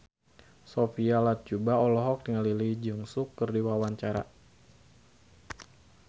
Sophia Latjuba olohok ningali Lee Jeong Suk keur diwawancara